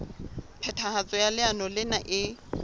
phethahatso ya leano lena e